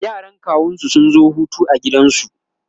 yaran kawunsu sun zo Hutu a gidansu